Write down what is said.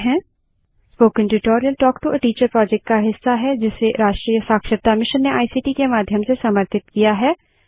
spoken tutorial talk to a teacher project का हिस्सा है जिसे राष्ट्रीय साक्षरता मिशन ने इक्ट के माध्यम से समर्थित किया है